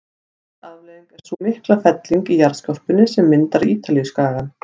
Önnur afleiðing er sú mikla felling í jarðskorpunni sem myndar Ítalíuskagann.